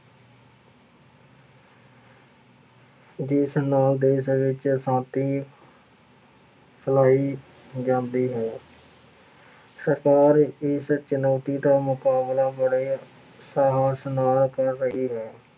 ਜਿਸ ਨਾਂ ਦੇ ਚ ਅਸ਼ਾਂਤੀ ਫੈਲਾਈ ਜਾਂਦੀ ਹੈ। ਸਰਕਾਰ ਇਸ ਚੁਣੌਤੀ ਦਾ ਮੁਕਾਬਲਾ ਬੜੇ ਸਾਹਸ ਨਾਲ ਕਰ ਰਹੀ ਹੈ।